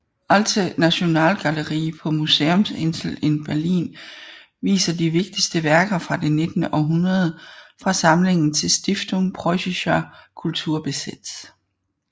Alte Nationalgalerie på Museumsinsel i Berlin viser de vigtigste værker fra det nittende århundrede fra samlingen til Stiftung Preussischer Kulturbesitz